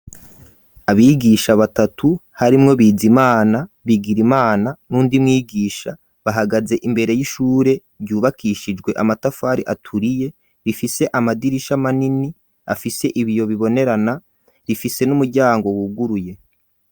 Abigisha batatu harimwo bizimana ,Bigirimana ,n'undi mwigisha bahagaze imbere y'ishure ryubakishijwe amatafari aturiye ,rifise amadirisha manini afise ibiyo bibonerana, rifise n'umuryango wuguruye.